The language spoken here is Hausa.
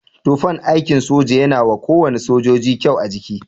Tufan aikin soja yana wa kowane sojoji kyau a jiki.